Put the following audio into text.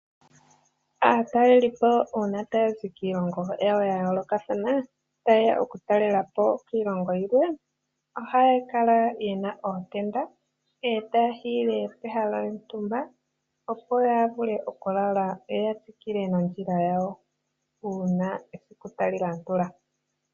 Aataleli po uuna taya zi kiilongo yawo yayoolokathana tayeya okutalela po kiilongo yilwe ohaya kala yena ootenda e taya hiile pehala lyontumba opo yavule okulala yo yatsikile nondjila yawo uuna esiku talilandula.